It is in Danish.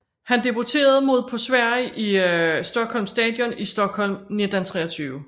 Han debuterede mod på Sverige i Stockholm Stadion i Stockholm 1923